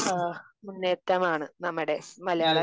ഏഹ്ഹ് മുന്നേറ്റമാണ് നമ്മുടെ മലയാള